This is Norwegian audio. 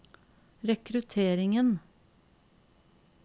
rekrutteringen